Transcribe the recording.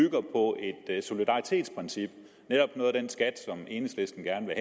har solidaritetsprincip netop noget af den skat som enhedslisten gerne